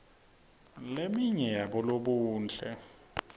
leminye yabolobuhle